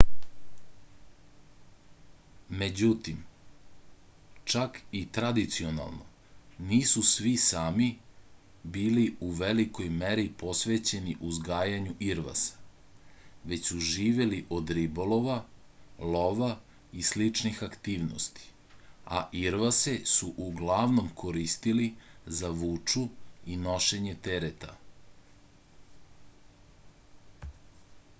međutim čak i tradicionalno nisu svi sami bili u velikoj meri posvećeni uzgajanju irvasa već su živeli od ribolova lova i sličnih aktivnosti a irvase su uglavnom koristili za vuču i nošenje tereta